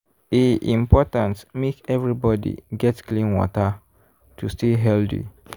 e important make everybody get clean water to stay healthy.